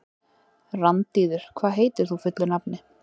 Randíður, hvað heitir þú fullu nafni?